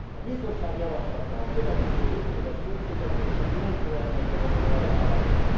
A Bizottság javaslata a következő hétéves költségvetéséről nem felel meg ennek az elvárásnak.